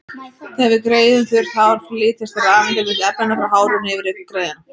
Þegar við greiðum þurrt hár flytjast rafeindir milli efnanna, frá hárinu yfir á greiðuna.